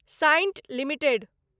Cyient limited